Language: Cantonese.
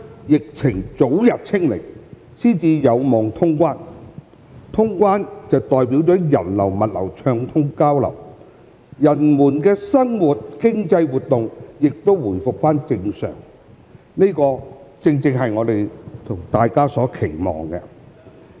疫情早日"清零"才有望通關，能通關代表人流、物流暢通交流，人們的生活和經濟活動亦回復正常，這正正是我們和大家所期望的。